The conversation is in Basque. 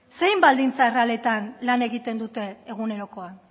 zein baldintza errealitatean lan egiten dute egunerokoan